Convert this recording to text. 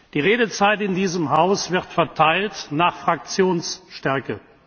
Die Redezeit in diesem Haus wird verteilt nach Fraktionsstärke.